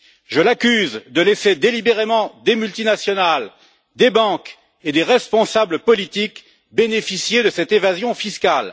Je l'accuse de laisser délibérément des multinationales, des banques et des responsables politiques bénéficier de cette évasion fiscale.